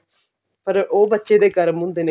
ਪਰ ਉਹ ਬੱਚੇ ਦੇ ਕਰਮ ਹੁੰਦੇ ਨੇ